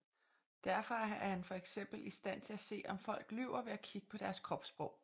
Derfor er han for eksempel i stand til at se om folk lyver ved at kigge på deres kropssprog